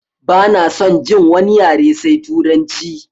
Bana son jin wani yare sai turanci!